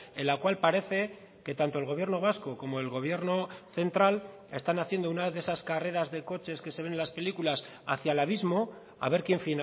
en la cual parece que tanto el gobierno vasco como el gobierno central están haciendo una de esas carreras de coches que se ven en las películas hacia el abismo a ver quién